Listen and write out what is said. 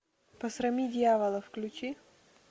посрами дьявола включи